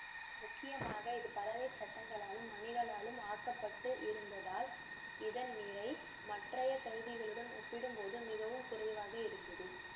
முக்கியமாக இது பலகைச் சட்டங்களாலும் மணிகளாலும் ஆக்கப்பட்டு இருந்ததால் இதன் நிறை மற்றைய கருவிகளுடன் ஒப்பிடும்போது மிகவும் குறைவாக இருந்தது